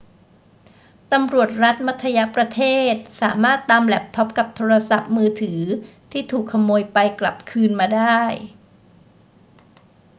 ตำรวจรัฐมัธยประเทศสามารถตามแล็ปท็อปกับโทรศัพท์มือถือที่ถูกขโมยไปกลับคืนมาได้